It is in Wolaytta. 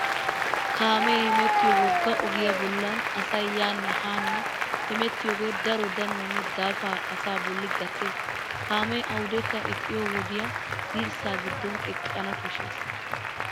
Kaamee hemettiyo wogga ogiyaa bollan asay yaanne haa hemettiyoogee daro danuwaanne daafaa asaa bolli gattes. kaamee awudekka eqqiyo wodiya dirssa giddon eqqana koshshes.